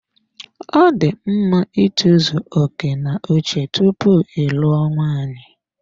Ọ dị mma itozu oke n'uche tupu ịlụo nwaanyị.